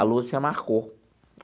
A Lúcia marcou.